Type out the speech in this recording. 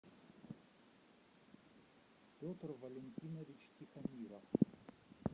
петр валентинович тихомиров